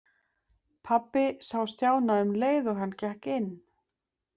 Pabbi sá Stjána um leið og hann gekk inn.